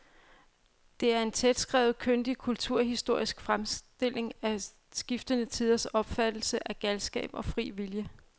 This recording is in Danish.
Det er en tætskrevet, kyndig kulturhistorisk fremstilling af skiftende tiders opfattelse af galskab og fri vilje.